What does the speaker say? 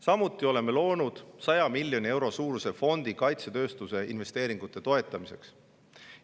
Samuti oleme loonud 100 miljoni euro suuruse fondi kaitsetööstuse investeeringute toetamiseks.